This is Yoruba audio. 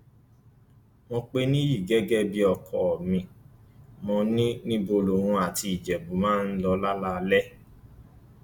mo pẹ nìyí gẹgẹ bíi ọkọ mi mo ní níbo lòun àti ìjẹbù máa ń lọ lálaalẹ